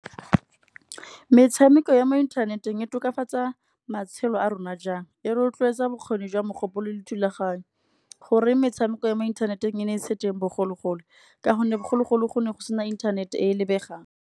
Metshameko ya mo inthaneteng e tokafatsa matshelo a rona jang, e rotloetsa bokgoni jwa mogopolo le thulaganyo. Goreng metshameko ya mo inthaneteng e ne e se teng bogologolo, ka gonne bogologolo go ne go sena internet-e e lebegang.